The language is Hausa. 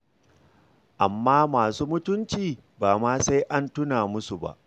Amma masu mutunci ba ma sai an tuna musu ba.